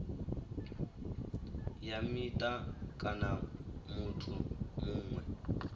ya mita kana muthu muṅwe